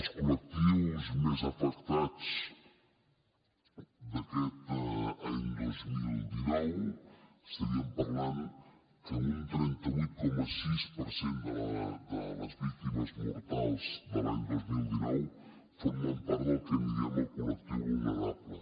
els col·lectius més afectats d’aquest any dos mil dinou estaríem parlant que un trenta vuit coma sis per cent de les víctimes mortals de l’any dos mil dinou formen part del que en diem el col·lectiu vulnerable